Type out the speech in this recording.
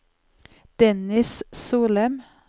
Dennis Solem